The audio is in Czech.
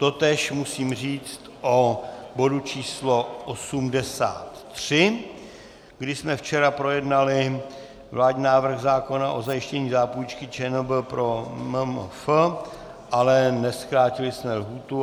Totéž musím říci o bodu číslo 83, kdy jsme včera projednali vládní návrh zákona o zajištění zápůjčky ČNB pro MMF, ale nezkrátili jsme lhůtu.